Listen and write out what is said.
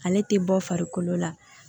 Ale tɛ bɔ farikolo la